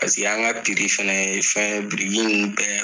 Paseke an ka fana ye fɛn ye biriki ninnu bɛɛ